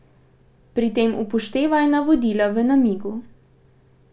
Pri tem upoštevaj navodila v namigu.